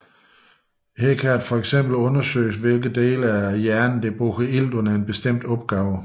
Her kan der eksempelvis undersøges hvilke dele af hjernen bruger ilt under en bestemt opgave